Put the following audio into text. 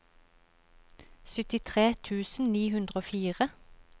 syttitre tusen ni hundre og fire